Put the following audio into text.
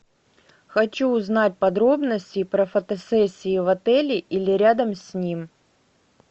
хочу узнать подробности про фотосессии в отеле или рядом с ним